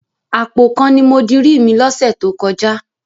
Àpò kan ni mo dirí mi lọ́sẹ̀ tó kọjá.